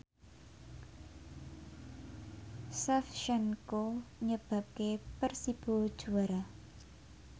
Shevchenko nyebabke Persibo juara